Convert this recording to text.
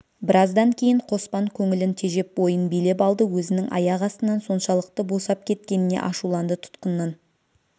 біраздан кейін қоспан көңілін тежеп бойын билеп алды өзінің аяқ астынан соншалықты босап кеткеніне ашуланды тұтқыннан